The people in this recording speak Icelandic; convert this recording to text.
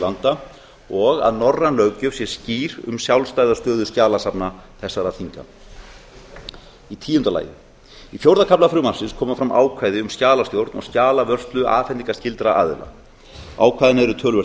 landa og að norræn löggjöf sé skýr um sjálfstæða stöðu skjalasafna þessara þinga tíu í fjórða kafla frumvarpsins koma fram ákvæði um skjalastjórn og skjalavörslu afhendingarskyldra aðila ákvæðin eru töluvert